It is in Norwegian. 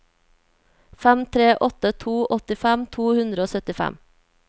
fem tre åtte to åttifem to hundre og syttifem